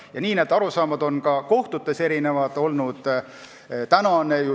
Nii ongi need arusaamad olnud ka kohtutes erinevad.